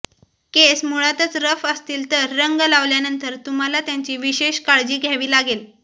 केस मुळातच रफ असतील तर रंग लावल्यानंतर तुम्हाला त्यांची विशेष काळजी घ्यावी लागेल